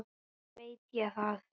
Hvernig veit ég það?